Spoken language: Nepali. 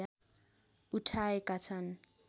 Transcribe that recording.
उठाएका छन्